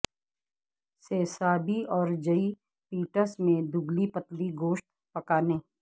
سسابی اور جئ پیٹس میں دبلی پتلی گوشت پکانے